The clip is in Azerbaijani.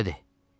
Məşədi!